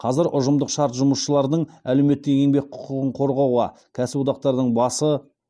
қазір ұжымдық шарт жұмысшылардың әлеуметтік еңбек құқығын қорғауда кәсіподақтардың басы